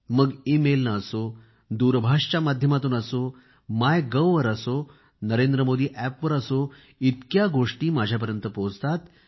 मग ईमेल ने असो दूरध्वनीच्या माध्यमातून असो मायगव्हवर असो नरेंद्र मोदी अॅपवर असो इतक्या गोष्टी माझ्यापर्यंत पोहोचतात